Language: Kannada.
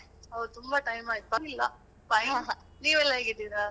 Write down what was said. ಹೌದು ತುಂಬ time ಆಯ್ತು ಪರ್ವಾಗಿಲ್ಲ fine ನೀವೆಲ್ಲಾ ಹೇಗಿದ್ದೀರಾ?